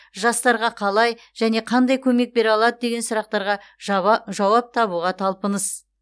жастарға қалай және қандай көмек бере алады деген сұрақтарға жауап табуға талпыныс